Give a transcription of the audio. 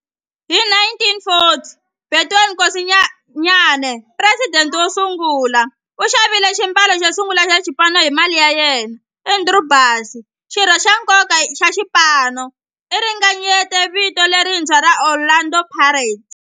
Hi 1940, Bethuel Mokgosinyane, president wosungula, u xavile xiambalo xosungula xa xipano hi mali ya yena. Andrew Bassie, xirho xa nkoka xa xipano, u ringanyete vito lerintshwa ra Orlando Pirates.